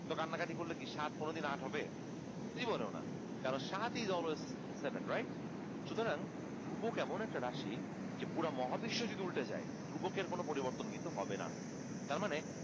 তো কান্নাকাটি করলে কি সাত কোনোদিন আট হবে জীবনেও না কারন সাত is always seven right সুতরাং ধ্রুবক এমন একটা রাশি যে পুরা মহাবিশ্ব যদি উল্টে যায় ধ্রুবকের কোনো পরিবর্তন কিন্তু হবে না তারমানে